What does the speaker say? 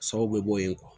Sababu bɛ bɔ yen